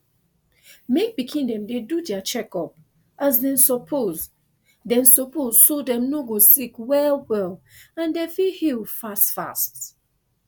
mek pikin dem dey do dia checkup as dem suppose dem suppose so dem no go sick well well and dem fit heal fast fast